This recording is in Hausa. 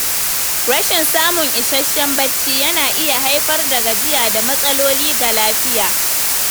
Rashin samun isasshen bacci yana iya haifar da gajiya da matsaloli ga lafiya.